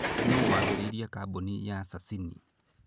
Nũũ waambĩrĩirie kambuni ya Sasini?